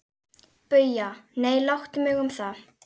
BAUJA: Nei, láttu mig um það.